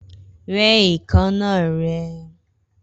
Rẹ́ èékánná rẹ!